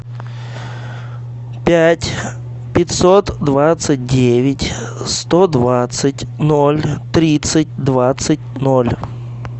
пять пятьсот двадцать девять сто двадцать ноль тридцать двадцать ноль